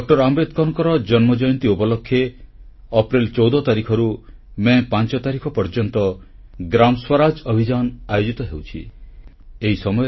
ଡଃ ଆମ୍ବେଦକରଙ୍କର ଜୟନ୍ତୀ ଉପଲକ୍ଷେ ଅପ୍ରେଲ 14 ତାରିଖରୁ ମେ 5 ତାରିଖ ପର୍ଯ୍ୟନ୍ତ ଗ୍ରାମ ସ୍ୱରାଜ ଅଭିଯାନ ଆୟୋଜିତ ହେଉଛି